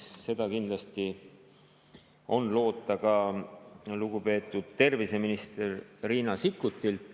Seda kindlasti on loota ka lugupeetud terviseministrilt Riina Sikkutilt.